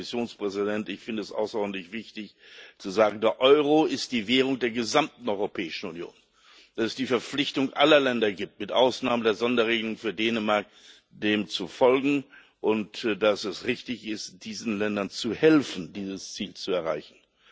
Und, Herr Kommissionspräsident, ich finde es außerordentlich wichtig zu sagen, dass der Euro die Währung der gesamten Europäischen Union ist, dass es die Verpflichtung aller Länder gibt mit Ausnahme der Sonderregelung für Dänemark dem zu folgen, und dass es richtig ist, diesen Ländern zu helfen, dieses Ziel zu erreichen.